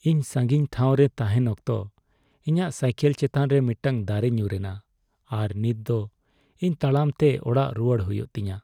ᱤᱧ ᱥᱟᱸᱜᱤᱧ ᱴᱷᱟᱶ ᱨᱮ ᱛᱟᱦᱮᱸᱱ ᱚᱠᱛᱚ ᱤᱧᱟᱹᱜ ᱥᱟᱭᱠᱮᱞ ᱪᱮᱛᱟᱱ ᱨᱮ ᱢᱤᱫᱴᱟᱝ ᱫᱟᱨᱮ ᱧᱩᱨ ᱮᱱᱟ, ᱟᱨ ᱱᱤᱛ ᱫᱚ ᱤᱧ ᱛᱟᱲᱟᱢ ᱛᱮ ᱚᱲᱟᱜ ᱨᱩᱣᱟᱹᱲ ᱦᱩᱭᱩᱜ ᱛᱤᱧᱟ ᱾